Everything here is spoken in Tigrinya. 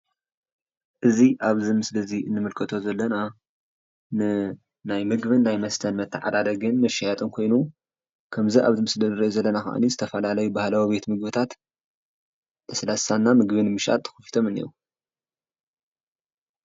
እዚ ኣብዚ ምስሊ እዚ እንምልከቶ ዘለና ንናይ ምግብን ናይ መስተን መተዓዳደግን መሸያጥን ኮይኑ ከምዚ ኣብዚ ምስሊ ንሪኦ ዘለና ከኣኒ ዝተፈላለዩ ባህላዊ ቤት ምግብታት ለስላሳ እና ምግቢ ንምሻጥ ኸፊቶም እኒአዉ።